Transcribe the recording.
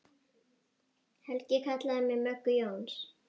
Helgi kallaði mig Möggu Jóns.